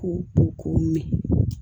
K'u ko k'u mɛn